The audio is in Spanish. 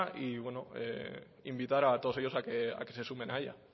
e invitar a todos ellos a que se sumen a ella